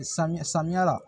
Samiya samiya la